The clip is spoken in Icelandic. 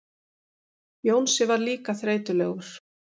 Jónsi var líka þreytulegur.